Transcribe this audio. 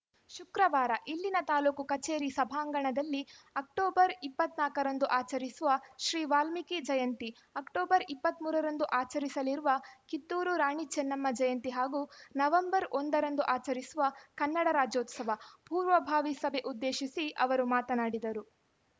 ಶುಕ್ರವಾರ ಇಲ್ಲಿನ ತಾಲೂಕು ಕಚೇರಿ ಸಭಾಂಗಣದಲ್ಲಿ ಅಕ್ಟೋಬರ್ ಇಪ್ಪತ್ತ್ ನಾಲ್ಕರಂದು ಆಚರಿಸುವ ಶ್ರೀ ವಾಲ್ಮೀಕಿ ಜಯಂತಿ ಅಕ್ಟೋಬರ್ ಇಪ್ಪತ್ತ್ ಮೂರರಂದು ಆಚರಿಸಲಿರುವ ಕಿತ್ತೂರು ರಾಣಿ ಚೆನ್ನಮ್ಮ ಜಯಂತಿ ಹಾಗೂ ನವಂಬರ್ ಒಂದರಂದು ಆಚರಿಸುವ ಕನ್ನಡ ರಾಜ್ಯೋತ್ಸವ ಪೂರ್ವಭಾವಿ ಸಭೆ ಉದ್ದೇಶಿಸಿ ಅವರು ಮಾತನಾಡಿದರು